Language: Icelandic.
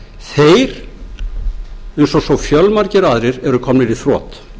þeir eins og svo fjölmargir aðrir eru komnir í þrot